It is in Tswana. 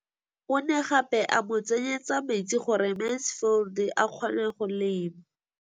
O ne gape a mo tsenyetsa metsi gore Mansfield a kgone go lema.